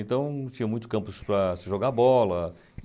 Então, tinha muitos campos para se jogar bola.